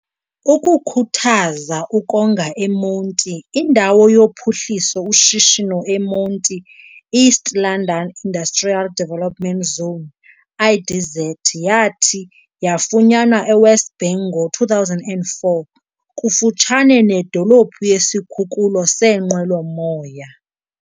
Ukukhuthaza ukonga eMonti, indawo yokuphuhlisa ushishino eMonti "East London Industrial Development Zone", IDZ, yathi yafunyanwa eWest Bank ngo-2004, kufutshane nedolophu yesikhululo seenqwelo-moya.